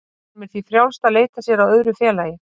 Honum er því frjálst að leita sér að öðru félagi.